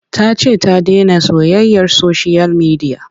Ta ce ta dena soyayyar soshiyal midiya.